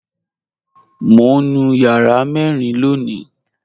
Mọ̀ n nú yàrà mẹ́rìn lóńì